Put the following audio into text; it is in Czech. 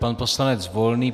Pan poslanec Volný.